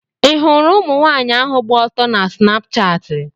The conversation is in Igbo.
Ị hụrụ ụmụnwaanyị ahụ gba ọtọ na Snapshatị?